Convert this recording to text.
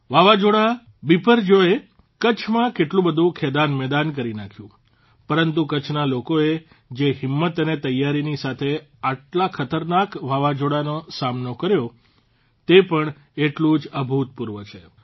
વાવાઝોડા બિપરજોયે કચ્છમાં કેટલું બધું ખેદાનમેદાન કરી નાંખ્યું પરંતુ કચ્છના લોકોએ જે હિંમત અને તૈયારીની સાથે આટલા ખતરનાક વાવાઝોડાનો સામનો કર્યો તે પણ એટલું જ અભૂતપૂર્વ છે